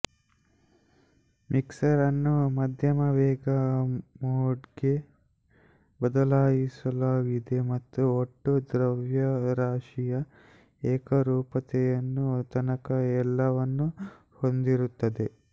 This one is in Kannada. ಮಿಕ್ಸರ್ ಅನ್ನು ಮಧ್ಯಮ ವೇಗ ಮೋಡ್ಗೆ ಬದಲಾಯಿಸಲಾಗಿದೆ ಮತ್ತು ಒಟ್ಟು ದ್ರವ್ಯರಾಶಿಯ ಏಕರೂಪತೆಯನ್ನು ತನಕ ಎಲ್ಲವನ್ನೂ ಹೊಂದಿರುತ್ತದೆ